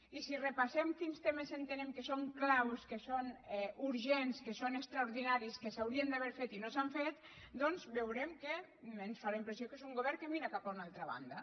i si repassem quins temes entenem que són clau que són urgents que són extraordinaris que s’haurien d’haver fet i no s’han fet doncs veurem que ens fa la impressió que mira cap a una altra banda